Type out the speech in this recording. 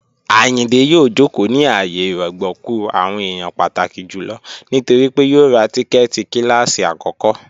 Ayíndé yòò jókò ní ààyè ìrọ̀gbọ̀kú àwọn èèyàn pàtàkí jùlọ nítorí pé yòò rá tíkẹ́ẹ̀tì kílásí akọ̀kọ